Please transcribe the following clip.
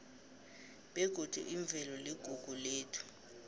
begodi imvelo iligugu lethu